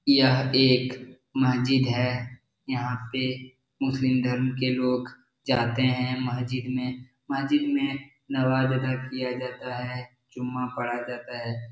यह एक मस्जिद है यहाँ पे मुस्लिम धर्म के लोग जाते है मस्जिद में मस्जिद मे नमाज अदा किया जाता है जुम्मा पड़ा जाता है।